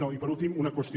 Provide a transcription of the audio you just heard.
no i per últim una qüestió